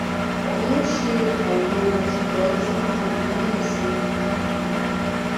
kò um ṣe àìlera ṣùgbọn ó ti ń di àníyàn sí um i